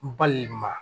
N balima